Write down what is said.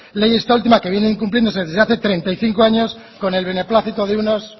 ley esta última que viene incumpliéndose desde hace treinta y cinco años con el beneplácito de unos